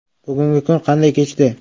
Bugungi kun qanday kechdi?